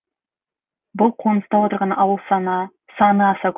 бұл қоныста отырған ауыл саны аса көп